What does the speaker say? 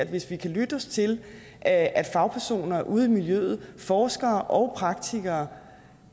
hvis vi kan lytte os til at at fagpersoner ude i miljøet forskere og praktikere